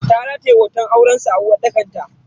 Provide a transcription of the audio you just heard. Ta rataye hoton aurensu a uwarɗakar ta.